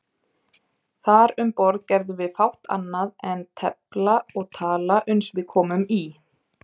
Þar um borð gerðum við fátt annað en tefla og tala uns við komum í